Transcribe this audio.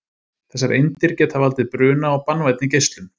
Þessar eindir geta valdið bruna og banvænni geislun.